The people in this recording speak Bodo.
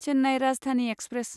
चेन्नाइ राजधानि एक्सप्रेस